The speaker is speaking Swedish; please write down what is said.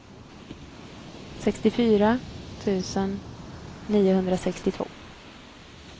sextiofyra tusen niohundrasextiotvå